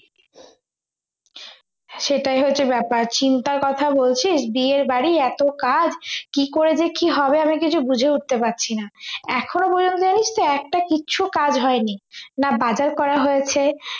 সেটাই হচ্ছে ব্যাপার চিন্তার কথা বলছিস বিয়ে বাড়ি এত কাজ কি করে যে কি হবে আমি কিছু বুঝে উঠতে পারছি না এখন পর্যন্ত জানিস তো একটা কিচ্ছু কাজ হয়নি না বাজার করা হয়েছে